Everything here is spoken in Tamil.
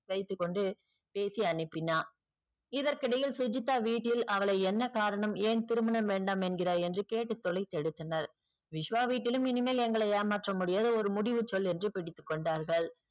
வைத்துக்கொண்டு பேசி அனுப்பினான் இதற்க்கு இடையில் சுஜித்தா வீட்டில் அவளை என்ன காரணம் ஏன் திருமணம் வேண்டாம் என்கிறாய் என்று கேட்டு தொலைத்து எடுத்தனர் விஷ்வா வீட்டிலும் இனிமேல் எங்களை ஏமாத்த முடியாது ஒரு முடிவு சொல் என்று பிடித்துக்கொண்டார்கள்